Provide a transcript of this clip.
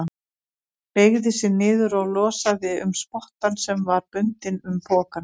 Beygði sig niður og losaði um spottann sem var bundinn um pokann.